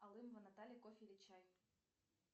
алымова наталья кофе или чай